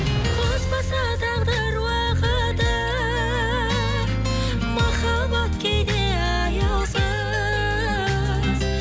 қоспаса тағдыр уақыты махаббат кейде аяусыз